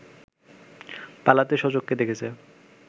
পালাতে স্বচক্ষে দেখেছে।